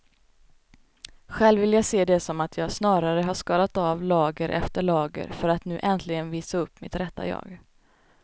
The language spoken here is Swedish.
Själv vill jag se det som att jag snarare har skalat av lager efter lager för att nu äntligen visa upp mitt rätta jag.